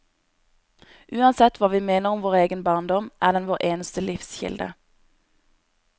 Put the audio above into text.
Uansett hva vi mener om vår egen barndom, er den vår eneste livskilde.